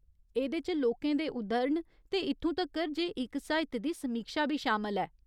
एह्दे च लोकें दे उद्धरण ते इत्थूं तक्कर जे इक साहित्य दी समीक्षा बी शामल ऐ।